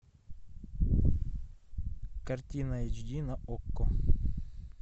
картина эйч ди на окко